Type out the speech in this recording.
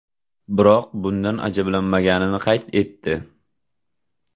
Biroq bundan ajablanmaganini qayd etdi.